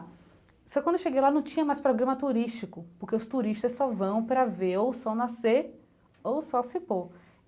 Só que quando eu cheguei lá, não tinha mais programa turístico, porque os turistas só vão para ver o sol nascer ou o sol se pôr.